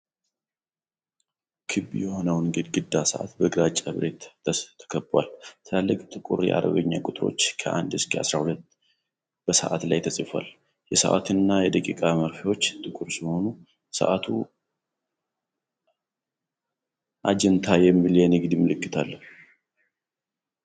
ክብ የሆነው ነጭ ግድግዳ ሰዓት በግራጫ ብረት ተከቧል። ትላልቅ ጥቁር የአረብኛ ቁጥሮች ከ1 እስከ 12 በሰዓቱ ላይ ተጽፈዋል። የሰዓት እና የደቂቃ መርፌዎች ጥቁር ሲሆኑ፣ ሰዓቱ አጃንታ የሚል የንግድ ምልክት አለው።